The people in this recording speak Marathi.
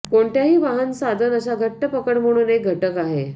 कोणत्याही वाहन साधन अशा घट्ट पकड म्हणून एक घटक आहे